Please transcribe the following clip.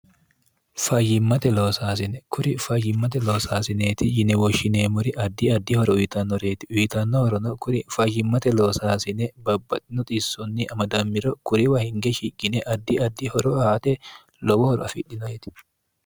fayyimmate loosaasine kuri fayyimmate loosaasineeti yinewoshshineemmori addi addi horo uyitannoreeti uyitannohorono kuri fayyimmate loosaasine babbaxinoxissunni amadammiro kuriwa hinge shigine addi addi horo aate lowohoro afidhinoeti